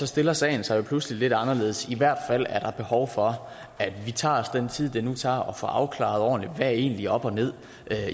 stiller sagen sig jo pludselig lidt anderledes i hvert fald er der behov for at vi tager os den tid det nu tager at få afklaret ordentligt der egentlig er op og ned